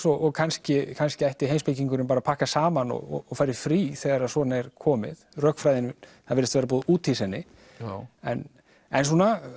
og kannski kannski ætti heimspekingurinn bara að pakka saman og fara í frí þegar svona er komið rökfræðin það virðist bara búið að úthýsa henni en en